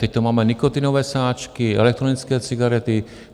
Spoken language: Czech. Teď tu máme nikotinové sáčky, elektronické cigarety.